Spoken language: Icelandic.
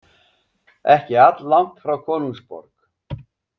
Ekki alllangt frá konungsborg.